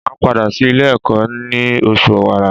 Màá padà sí Ilé ẹ̀kọ́ ní osù Òwàrà